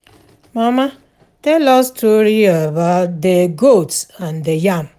Mama, tell us story about the goat and the yam